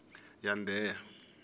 yandheya